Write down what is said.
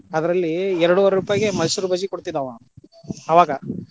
ಅದ್ರಲ್ಲಿ ಎರಡುವರೆ ರೂಪಾಯಿಗೆ ಮೈಸೂರ ಬಜ್ಜಿ ಕೊಡ್ತಿದ್ದ ಅವಾ ಆವಾಗಾ.